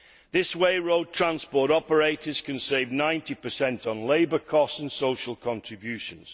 This way road transport operators can save 90 on labour costs and social contributions.